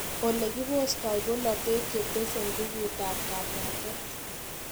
Ole kipostai polatet chetese nguput ab kapwatet